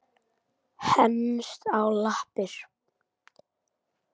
Henst á lappir